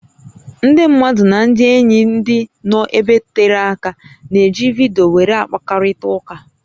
Ndị mmadụ nà ndị ényí ndị nọ ebe tere áká na-eji vidiyo wéré akpakọrịta ụká